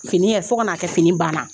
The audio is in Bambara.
Fini ye fo ka na a kɛ fini banna